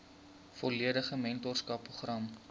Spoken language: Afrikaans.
volledige mentorskap program